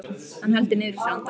Hann heldur niðri í sér andanum.